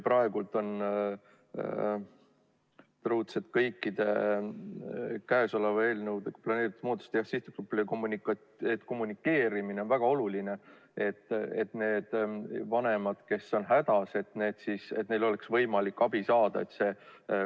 Praegu on kõikide käesoleva eelnõuga planeeritud muudatuste kommunikeerimine sihtgrupile väga oluline, et neil vanematel, kes on hädas, oleks võimalik abi saada.